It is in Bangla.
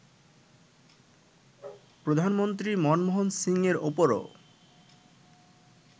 প্রধানমন্ত্রী মনমোহন সিংয়ের ওপরও